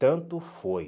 Tanto foi.